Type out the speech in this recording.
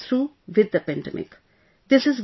We will get through with the pandemic